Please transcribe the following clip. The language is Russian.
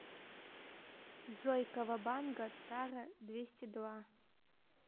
джой кавабанга тара двести два